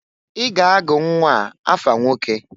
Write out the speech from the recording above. I ga-agụ nnwaa afa nwoke!